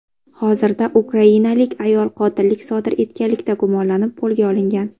Hozirda ukrainalik ayol qotillik sodir etganlikda gumonlanib qo‘lga olingan.